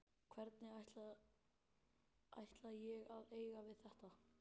Hvernig ætla ég að eiga við þetta?